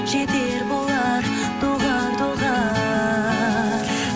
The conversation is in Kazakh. жетер болар доғар доғар